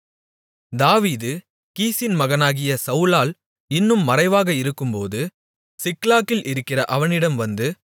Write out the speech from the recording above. தாவீது கீசின் மகனாகிய சவுலால் இன்னும் மறைவாக இருக்கும்போது சிக்லாகில் இருக்கிற அவனிடம் வந்து